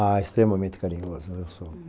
Ah, extremamente carinhoso eu sou.